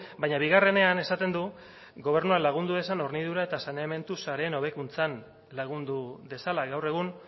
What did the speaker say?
baina bigarrenean esaten du gobernuak lagundu dezan hornidura eta saneamentu sareen hobekuntzan lagundu dezala gaur egun